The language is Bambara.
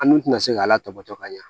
An dun tɛna se k'a la tɔbɔtɔ ka ɲa